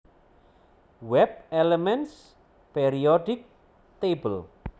WebElements Periodic Table